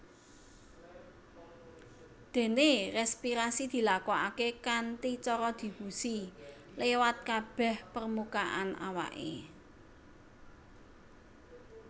Déné respirasi dilakokaké kanthi cara difusi liwat kabèh permukaan awaké